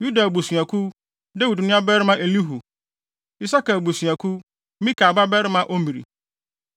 Yuda abusuakuw: Dawid nuabarima Elihu; Isakar abusuakuw: Mikael babarima Omri;